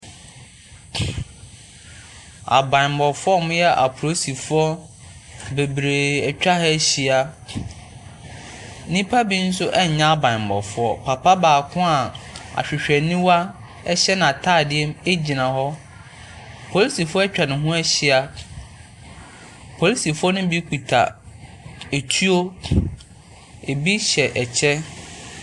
Abammɔfoɔ a wɔyɛ apolisifoɔ bebree atwa ha ahyia. Nnipa bi nso nyɛ abammɔfoɔ. Papa baako a ahwehwɛniwa hyɛ n'atadeɛ mu gyina hɔ. Polisifoɔ atwa ne ho ahyia. Apolisifoɔ no bi kuta etuo. Ebi hyɛ kyɛ.